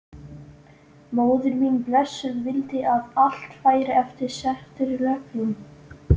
Móðir mín blessuð vildi að allt færi eftir settum reglum.